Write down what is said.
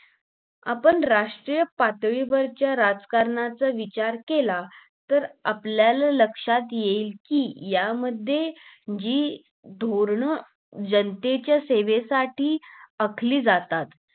आपण राष्ट्रीय पातळीवरच्या राजकारणाचा विचार केला तर आपल्याला लक्षात येईल कि यामध्ये जी धोरण जनतेच्या सेवेसाठी आखली जातात